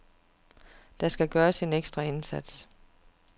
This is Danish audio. Der skal gøres en ekstra indsats.